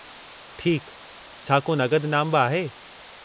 ठीकु, छा को नक़द इनामु बि आहे?